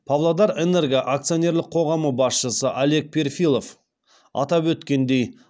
павлодарэнерго акционерлік қоғамы басшысы олег перфилов атап өткендей